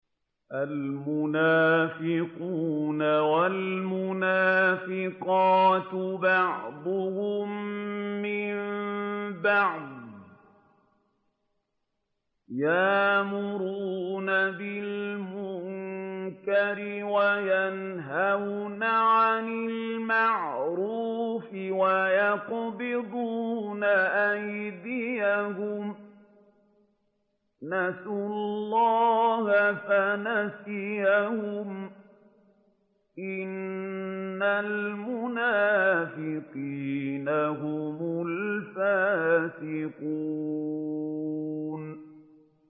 الْمُنَافِقُونَ وَالْمُنَافِقَاتُ بَعْضُهُم مِّن بَعْضٍ ۚ يَأْمُرُونَ بِالْمُنكَرِ وَيَنْهَوْنَ عَنِ الْمَعْرُوفِ وَيَقْبِضُونَ أَيْدِيَهُمْ ۚ نَسُوا اللَّهَ فَنَسِيَهُمْ ۗ إِنَّ الْمُنَافِقِينَ هُمُ الْفَاسِقُونَ